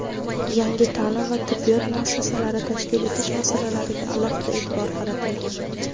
yangi ta’lim va tibbiyot muassasalari tashkil etish masalalariga alohida e’tibor qaratilgan.